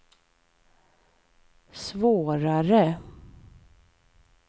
svårare